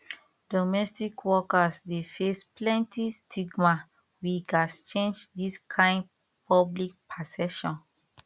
domestic workers dey face plenty stigma we gats change dis kain public perception